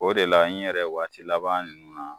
O de la n yɛrɛ waati laban nUnnu na